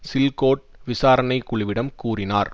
சில்கோட் விசாரணை குழுவிடம் கூறினார்